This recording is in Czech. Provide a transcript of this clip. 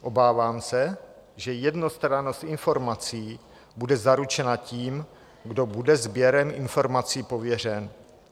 Obávám se, že jednostrannost informací bude zaručena tím, kdo bude sběrem informací pověřen.